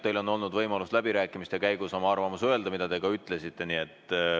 Teil on olnud võimalus läbirääkimiste käigus oma arvamus öelda ja seda te ka ütlesite.